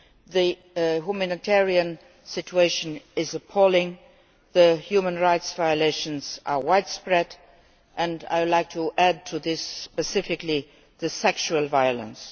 The humanitarian situation is appalling, the human rights violations are widespread and I would like to add to this specifically the sexual violence.